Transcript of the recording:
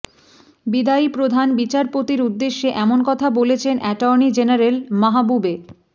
বিদায়ী প্রধান বিচারপতির উদ্দেশে এমন কথা বলেছেন অ্যাটর্নি জেনারেল মাহবুবে